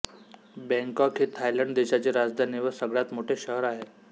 Bangkok ही Thailand देशाची राजधानी व सगळ्यात मोठे शहर आहे